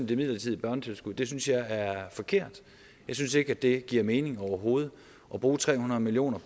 det midlertidige børnetilskud det synes jeg er forkert jeg synes ikke at det giver mening overhovedet at bruge tre hundrede million